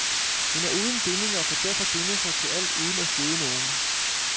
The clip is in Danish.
Hun er uden bindinger og kan derfor binde sig til alt, uden at støde nogen.